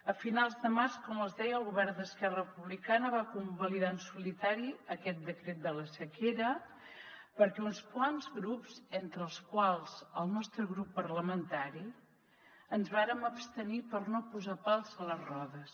a finals de març com es deia el govern d’esquerra republicana va convalidar en solitari aquest decret de la sequera perquè uns quants grups entre els quals el nostre grup parlamentari ens vàrem abstenir per no posar pals a les rodes